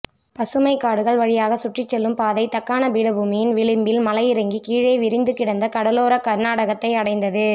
பசுமைக்காடுகள் வழியாகச் சுற்றிச்செல்லும் பாதை தக்காணப் பீடபூமியின் விளிம்பில் மலையிறங்கி கீழே விரிந்துகிடந்த கடலோரக் கர்நாடகத்தை அடைந்தது